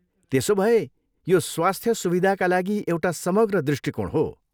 त्यसो भए यो स्वास्थ सुविधाका लागि एउटा समग्र दृष्टिकोण हो।